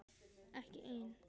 Ekki ein.